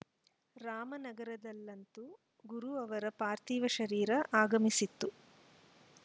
ರಾಮನಗರದಲ್ಲಂತೂ ಗುರು ಅವರ ಪಾರ್ಥಿವ ಶರೀರ ಆಗಮಿಸಿತು